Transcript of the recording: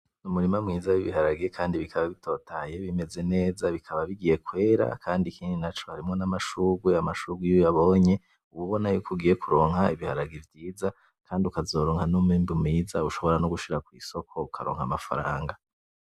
Umurima ma w'ibiharage kandi bikaba bitotahaye bimeze neza bikaba bigiye kwera ikindi naco harimwo n'amashurwe, amashurwe iyo uyabonye uba ubona yuko ugiye kuronka ibiharage vyiza kandi ukazoronka n'umwimbu mwiza ushobora nogushika kw'isoko ukaronka amafaranga.